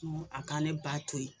Ŋo a ka ne ba to ye